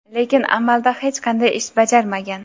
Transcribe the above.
Lekin amalda hech qanday ish bajarmagan.